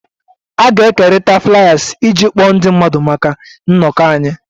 A ga-ekerịta Fliers iji kpọọ ndị mmadụ maka nnọkọ anyị